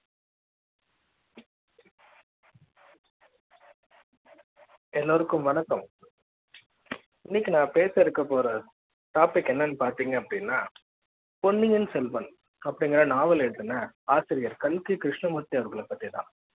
எல்லோருக்கும் வணக்கம் இன்னைக்கு நான் பேச இருக்க போற topic என்னன்னு பாத்தீங்க அப்படின்னா பொன்னியின் செல்வன் அப்படிங்கற நாவல்ல எழுதின ஆசிரியர் கல்கி கிருஷ்ணமூர்த்தி அவர்களை பற்றி தான்